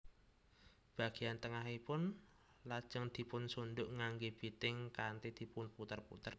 Bageyan tengahipun lajeng dipun sunduk nganggé biting kanthi dipun puter puter